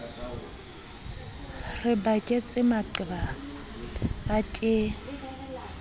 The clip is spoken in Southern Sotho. re baketse maqeba a ke